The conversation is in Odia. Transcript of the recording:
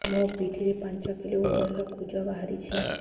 ମୋ ପିଠି ରେ ପାଞ୍ଚ କିଲୋ ଓଜନ ର କୁଜ ବାହାରିଛି